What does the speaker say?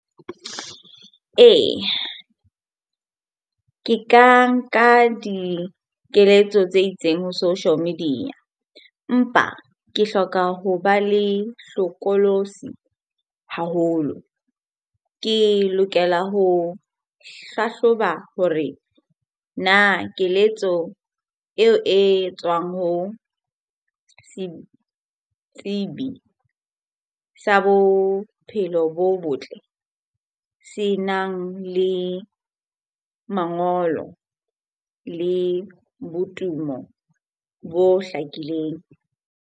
Eya, ke ka nka dikeletso tse itseng ho social media empa ke hloka ho ba le hlokolosi haholo. Ke lokela ho hlahloba hore na keletso eo e tswang ho setsibi sa bophelo bo botle senang le mangolo le botumo bo hlakileng?